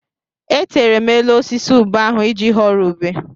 Etere m elu osisi ube ahụ iji ghọrọ ube.